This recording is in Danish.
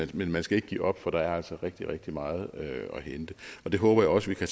men man skal ikke give op for der er altså rigtig rigtig meget at hente det håber jeg også vi kan